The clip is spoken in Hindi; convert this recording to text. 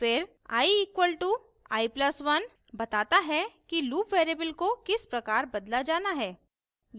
फिर i = i + 1 बताता है कि loop variable को किस प्रकार बदला जाना है